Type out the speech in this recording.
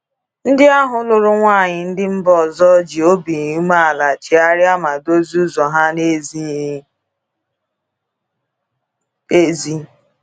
Ndị ahụ lụrụ nwanyị ndị mba ọzọ ji obi umeala chegharịa ma dozie ụzọ ha n'ezighi ezi.